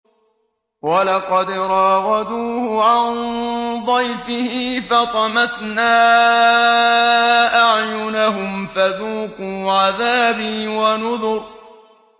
وَلَقَدْ رَاوَدُوهُ عَن ضَيْفِهِ فَطَمَسْنَا أَعْيُنَهُمْ فَذُوقُوا عَذَابِي وَنُذُرِ